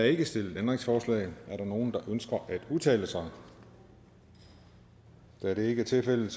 ikke stillet ændringsforslag er der nogen der ønsker at udtale sig da det ikke er tilfældet